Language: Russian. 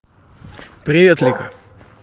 привет лика